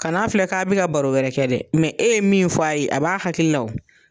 Kana filɛ k'a bɛ ka baro wɛrɛ kɛ dɛ e ye min fɔ a ye a b'a hakili la o.